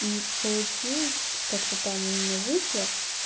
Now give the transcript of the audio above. и получилось как-то там у меня вышло